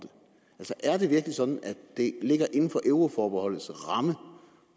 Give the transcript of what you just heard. det ligger inden for euroforbeholdets ramme